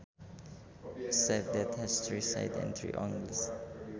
A shape that has three sides and three angles